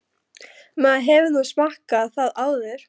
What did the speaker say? Maður hefur nú smakkað það áður.